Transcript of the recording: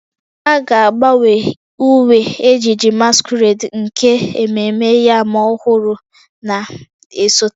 A ga-agbanwe uwe ejiji masquerade nke ememme yam ọhụrụ na-esote